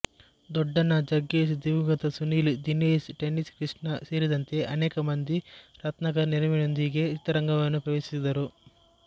ದೊಡ್ಡಣ್ಣ ಜಗ್ಗೇಶ್ ದಿವಂಗತ ಸುನಿಲ್ ದಿನೇಶ್ ಟೆನ್ನಿಸ್ ಕೃಷ್ಣ ಸೇರಿದಂತೆ ಅನೇಕ ಮಂದಿ ರತ್ನಾಕರ್ ನೆರವಿನೊಂದಿಗೆ ಚಿತ್ರರಂಗವನ್ನು ಪ್ರವೇಶಿಸಿದರು